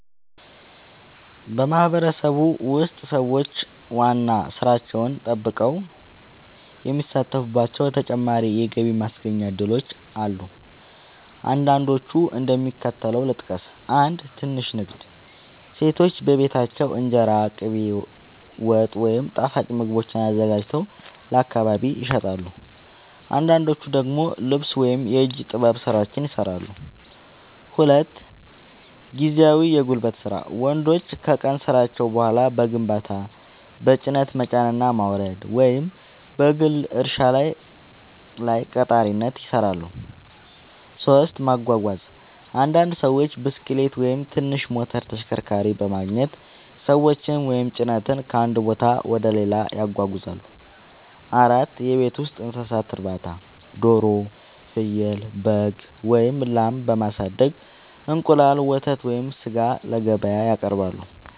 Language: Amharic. በማህበረሰቤ ውስጥ ሰዎች ዋና ሥራቸውን ጠብቀው የሚሳተፉባቸው ተጨማሪ የገቢ ማስገኛ እድሎች አሉ። አንዳንዶቹን እንደሚከተለው ልጠቅስ፦ 1. ትንሽ ንግድ – ሴቶች በቤታቸው እንጀራ፣ ቅቤ፣ ወጥ ወይም ጣፋጭ ምግቦችን አዘጋጅተው ለአካባቢ ይሸጣሉ። አንዳንዶች ደግሞ ልብስ ወይም የእጅ ጥበብ ሥራዎችን ይሠራሉ። 2. ጊዜያዊ የጉልበት ሥራ – ወንዶች ከቀን ሥራቸው በኋላ በግንባታ፣ በጭነት መጫንና ማውረድ፣ ወይም በግል እርሻ ላይ ቀጣሪነት ይሠራሉ። 3. ማጓጓዝ – አንዳንድ ሰዎች ብስክሌት ወይም ትንሽ ሞተር ተሽከርካሪ በማግኘት ሰዎችን ወይም ጭነት ከአንድ ቦታ ወደ ሌላ ያጓጉዛሉ። 4. የቤት ውስጥ እንስሳት እርባታ – ዶሮ፣ ፍየል፣ በግ ወይም ላም በማሳደግ እንቁላል፣ ወተት ወይም ሥጋ ለገበያ ያቀርባሉ።